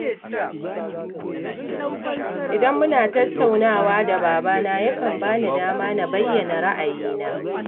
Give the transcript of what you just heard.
Idan muna tattaunawa da babana yakan ba ni dama na bayyana ra'ayina